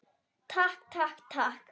Takk, takk, takk.